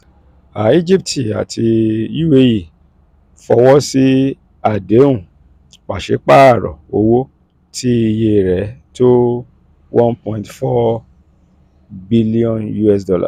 egypt àti uae fọwọ́ sí àdéhùn pàṣípààrọ̀ owó tí iye rẹ̀ tó $ one point four billion